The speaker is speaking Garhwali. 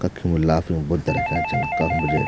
कखिम लाफिंग बुद्धा रख्याँ छन काखम जे --